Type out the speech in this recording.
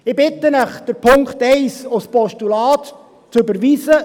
Ich bitte Sie, Punkt 1 als Postulat zu überweisen.